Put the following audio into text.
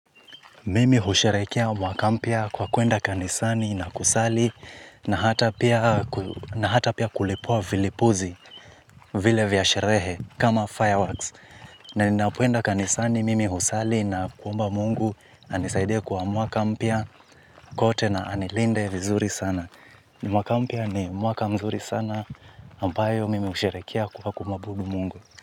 Mimi husherekea mwaka mpia kwa kuenda kanisani na kusali na hata pia kulipua vilipuzi, vile vyasherehe kama fireworks. Naninapoenda kanisani, mimi husali na kuomba mungu anisaidie kwa mwaka mpia kote na anilinde vizuri sana. Mwaka mpya ni mwaka mzuri sana ambayo mimi husherekea kwa kumuabudu Mungu.